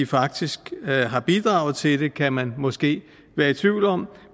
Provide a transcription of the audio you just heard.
faktisk har bidraget til det kan man måske være i tvivl om